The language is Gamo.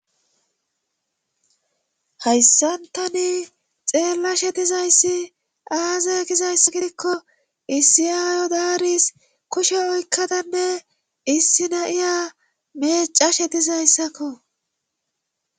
hayssantani xeella dizayssi aaze gizayss gidikko issi ayo daaris kushe oykkadanne issi nayiya meecashe dizayssakko